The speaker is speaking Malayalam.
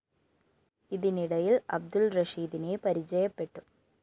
ഇതിനിടയില്‍ അബ്ദുള്‍ റഷീദിനെ പരിചയപ്പെട്ടു